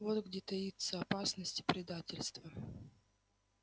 вот где таится опасность и предательство